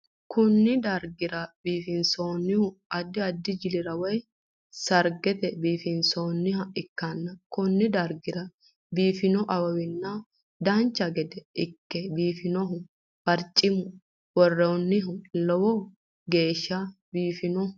Kunni darga biifinsoonnihu addi addi jili woyi sargera biifinsoonniha ikanna konni dargira biifino awawanna dancha gede Ike biifino barcima woreenna lowo geesha biifino?